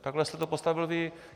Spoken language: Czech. Takhle jste to postavil vy.